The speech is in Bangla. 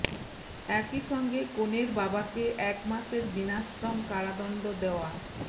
একই সঙ্গে কনের বাবাকে এক মাসের বিনাশ্রম কারাদণ্ড দেওয়া